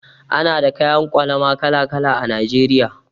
Ana da kayan ƙwalama kala-kala a Najeriya.